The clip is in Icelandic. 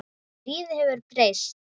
Lífið hefur breyst.